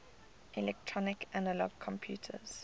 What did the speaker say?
electronic analog computers